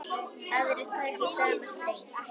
Aðrir taka í sama streng.